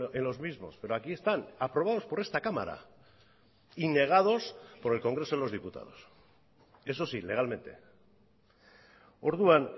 en los mismos pero aquí están aprobados por esta cámara y negados por el congreso de los diputados eso sí legalmente orduan